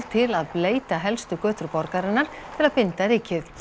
til að bleyta helstu götur borgarinnar til að binda rykið